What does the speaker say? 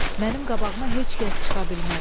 Mənim qabağıma heç kəs çıxa bilməz.